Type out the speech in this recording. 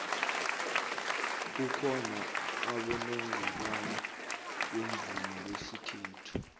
kukhona abonongorwana bomvumo besikhethu